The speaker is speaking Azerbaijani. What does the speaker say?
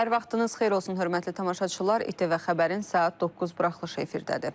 Hər vaxtınız xeyir olsun, hörmətli tamaşaçılar, ATV xəbərin saat 9 buraxılışı efirdədir.